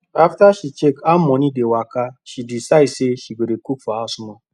after she check how money dey waka she decide say she go dey cook for house more